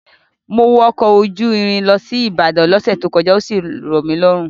Mo wọ ọkọ̀ ojú irin lọ sí Ìbàdàn lọ́sẹ̀ tó kọjá, ó sì rọ̀ mí lọ́rùn.